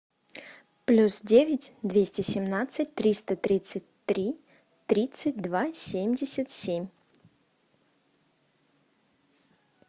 плюс девять двести семнадцать триста тридцать три тридцать два семьдесят семь